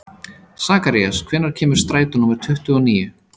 Sakarías, hvenær kemur strætó númer tuttugu og níu?